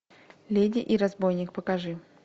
леди и разбойник покажи